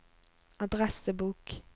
adressebok